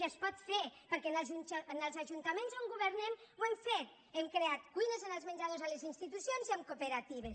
i es pot fer perquè en els ajuntaments on governem ho hem fet hem creat cui·nes en els menjadors a les institucions i amb coope·ratives